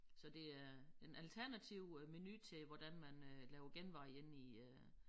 Så det er en alternativ øh menu til hvordan man øh laver genveje inde i øh